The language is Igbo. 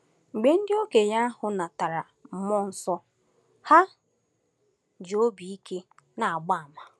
Mgbe ndị okenye ahụ natara mmụọ nsọ, ha ji obi ike na-agba àmà.